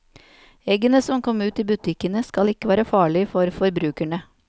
Eggene som kom ut i butikkene, skal ikke være farlig for forbrukerne.